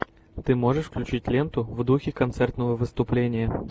ты можешь включить ленту в духе концертного выступления